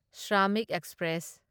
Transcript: Shramik express